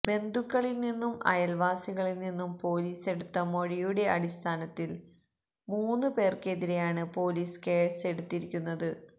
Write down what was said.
ബന്ധുക്കളില് നിന്നും അയല്വാസികളില് നിന്നും പോലീസെടുത്ത മൊഴിയുടെ അടിസ്ഥാനത്തില് മൂന്ന് പേര്ക്കെതിരെയാണ് പോലീസ് കേസെടുത്തിരിക്കുന്നത്